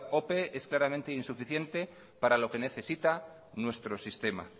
ope es claramente insuficiente para lo que necesita nuestro sistema